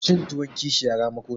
Cin tuwon kishiya ramako ne.